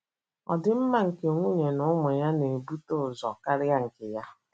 Ọdịmma nke nwunye na ụmụ ya na ebute ụzọ karịa nke ya.